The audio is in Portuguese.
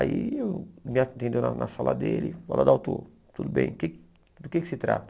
Aí me atendeu na na sala dele, falou, Adalto, tudo bem, que do que se trata?